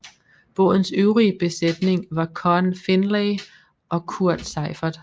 Bådens øvrige besætning var Conn Findlay og Kurt Seiffert